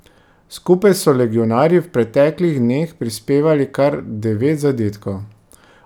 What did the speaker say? Skupaj so legionarji v preteklih dneh prispevali kar devet zadetkov.